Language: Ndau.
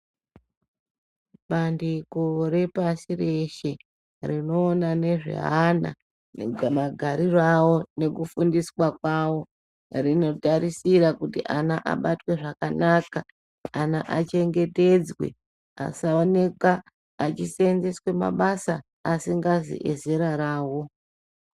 Bandiko repashi reshe rinoonangezve ana magariro awo nekufundiswa kwawo rinotarisira kuti ana abatwe zvakanaka, ana achengetedzwe asaonekwa achisenzeswa mabasa asikazi ezera rawo.